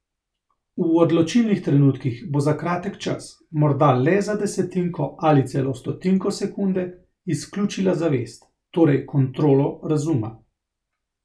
V odločilnih trenutkih bo za kratek čas, morda le za desetinko ali celo stotinko sekunde, izključila zavest, torej kontrolo razuma.